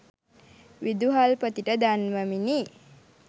විදුහල්පතිට දන්වමිනි.